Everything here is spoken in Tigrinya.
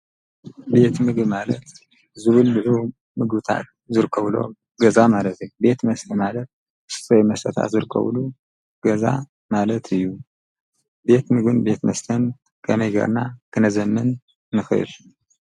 ቤት ምግቢ ማለት ዝብልዑ ምግብታት ዝርከብሎ ገዛ ማለት እዩ ቤት መስተ ማለት ወይ መስተ ዝርከበሉ ገዛ ማለት እዩ ቤት ምግብን ቤት መስተን ከመይ ጌርና ክነዘምን ንኽእል?